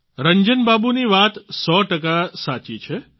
રંજન બાબુ ની વાત સો ટકા સાચી છે